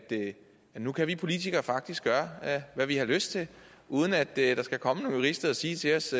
nu kan vi politikere faktisk gøre hvad vi har lyst til uden at der skal komme nogle jurister og sige til os